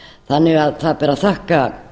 þannig að það ber að þakka